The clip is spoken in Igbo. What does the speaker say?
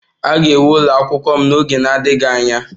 A ga-ewu ụlọ akwụkwọ m n'oge na-adịghị anya